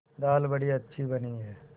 दाल बड़ी अच्छी बनी है